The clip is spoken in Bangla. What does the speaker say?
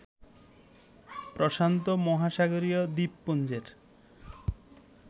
প্রশান্ত মহাসাগরীয় দ্বীপপুঞ্জের